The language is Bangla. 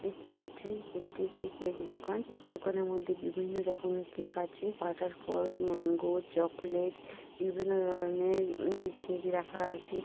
দেখতে পাচ্ছেন এটি একটি কেক দোকান কেক দোকান এর মধ্যে বিভিন্ন রকমের কেক আছে বাটারকোচ ম্যাংগো চকলেট বিভিন্ন ধরনের উম কেক রাখা আছে।